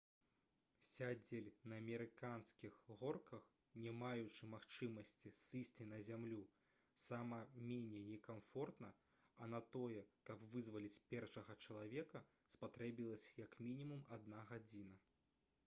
«сядзець на амерыканскіх горках не маючы магчымасці сысці на зямлю сама меней некамфортна а на тое каб вызваліць першага чалавека спатрэбілася як мінімум адна гадзіна»